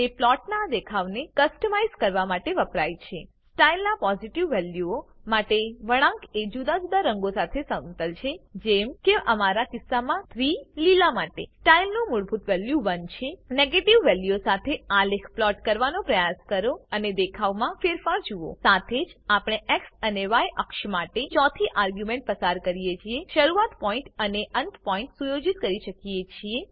તે પ્લોટનાં દેખાવને કસ્ત્માઇઝ કરવા માટે વપરાય છે સ્ટાઇલ નાં પોસીટીવ વેલ્યુઓ માટે વળાંક એ જુદા જુદા રંગો સાથે સમતલ છે જેમ કે અમારા કિસ્સામાં 3 લીલા માટે સ્ટાઇલ ની મૂળભૂત વેલ્યુ 1 છે નીગેટીવ વેલ્યુઓ સાથે આલેખ પ્લોટ કરવાનો પ્રયાસ કરો અને દેખાવમાં ફેરફાર જુઓ સાથેજ આપણે એક્સ અને ય અક્ષ માટે ચોથી આર્ગ્યુંમેંટ પસાર કરીને શરૂઆત પોઈન્ટ અને અંત પોઈન્ટ સુયોજિત કરી શકીએ છીએ